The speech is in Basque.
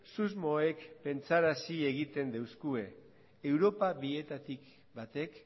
susmoek pentsarazi egiten doskue europa bietatik batek